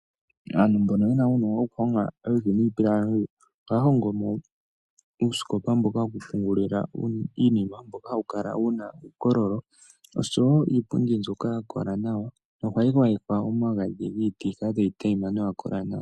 Aantu mbono yena uunongo wokuhonga iiti niipilangi ohaya hongomo uusikopa wokupungula iinima mboka hawu kala wuna uukololo oshowo iipundi mbyono hayi gwayekwa omagadhi opo yikale tayi tayima nawa.